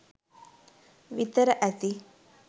විතර ඇති